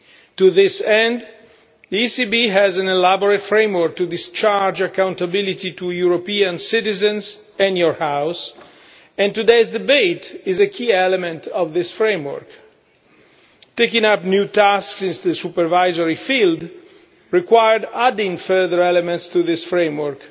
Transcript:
To this end, the ECB has an elaborate framework to discharge accountability to European citizens and your House, and today's debate is a key element of this framework. Taking up new tasks in the supervisory field required adding further elements to this framework,